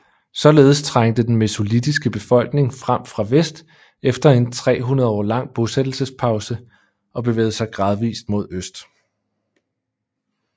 Således trængte den mesolitiske befolkning frem fra vest efter en 300 år lang bosættelsespause og bevægede sig gradvist mod øst